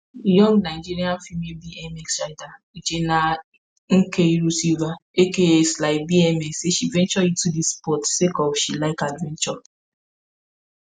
young nigerian female bmx rider uchenna nkeiru sylvia aka slybmx say she venture into dis sport sake of say she like adventure.